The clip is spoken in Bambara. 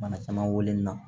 Bana caman weleli la